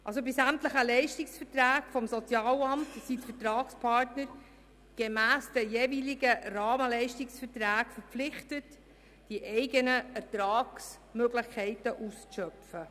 Bei sämtlichen Leistungsverträgen des Sozialamts sind die Vertragspartner gemäss den jeweiligen Rahmenleistungsverträgen verpflichtet, die eigenen Ertragsmöglichkeiten auszuschöpfen.